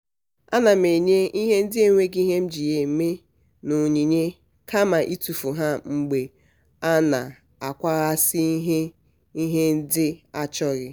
ana m enye ihe ndị enweghị ihe m ji ha eme n'onyinye kama itufu ha mgbe a na-akwahasi ihe ihe ndị achọghị.